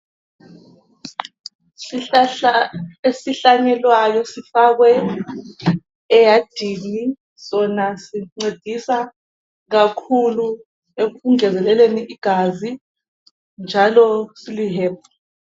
Isihlahla esihlanyeliweyo sifakwe eyadini sona sincedisa kakhulu ekungezeleleni igazi njalo silihebhu.